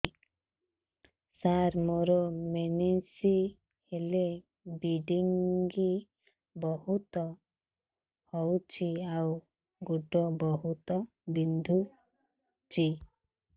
ସାର ମୋର ମେନ୍ସେସ ହେଲେ ବ୍ଲିଡ଼ିଙ୍ଗ ବହୁତ ହଉଚି ଆଉ ଗୋଡ ବହୁତ ବିନ୍ଧୁଚି